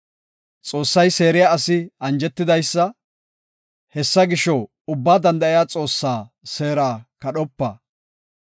“Xoossay seeriya asi anjetidaysa; hessa gisho, Ubbaa Danda7iya Xoossaa seera kadhopa.